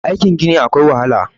aikin Gini akwai wahala